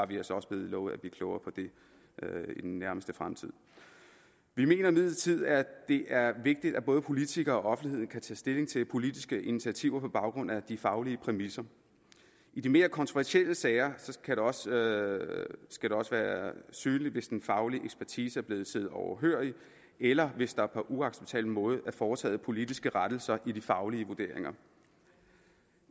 vi altså også blevet lovet at blive klogere på det i den nærmeste fremtid vi mener imidlertid at det er vigtigt at både politikerne og offentligheden kan tage stilling til politiske initiativer på baggrund af de faglige præmisser i de mere kontroversielle sager skal det også være synligt hvis den faglige ekspertise er blevet siddet overhørig eller hvis der på uacceptabel måde er foretaget politiske rettelser i de faglige vurderinger